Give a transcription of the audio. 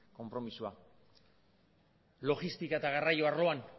konpromisoa logistika eta garraio arloan